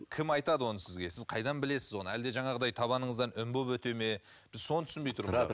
кім айтады оны сізге сіз қайдан білесіз оны әлде жаңағыдай табаныңыздан үн боп өте ме біз соны түсінбей тұрмыз